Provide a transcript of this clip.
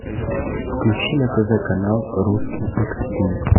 включи на тв канал русский экстрим